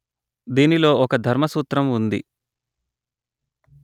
దీనిలో ఒక ధర్మసూత్రం ఉంది